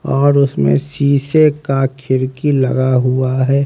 और उसमें शीशे का खिड़की लगा हुआ है।